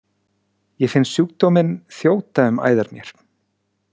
Ég finn sjúkdóminn þjóta um æðar mér.